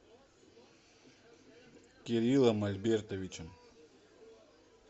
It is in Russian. кириллом альбертовичем